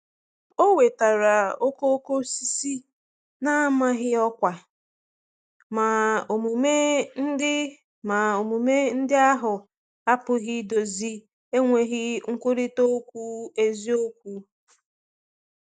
O wetara okooko osisi na-amaghị ọkwa, ma omume ndị ma omume ndị ahụ apụghị idozi enweghị nkwurịta okwu eziokwu.